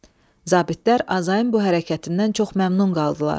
Zabitlər Azayın bu hərəkətindən çox məmnun qaldılar.